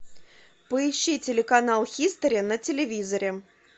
поищи телеканал хистори на телевизоре